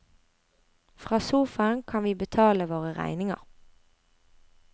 Fra sofaen kan vi betale våre regninger.